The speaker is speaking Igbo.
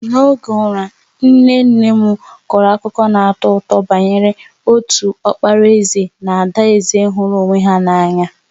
N'oge ụra, nne nne m kọrọ akụkọ na-atọ ụtọ banyere otu ọkpara eze na adaeze hụrụ onwe ha n’anya.